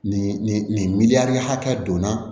Nin nin nin miliyɔn ni hakɛ donna